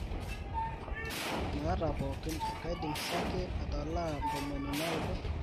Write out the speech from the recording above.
maata pooki kaidim sake atalaa ntomoni naudo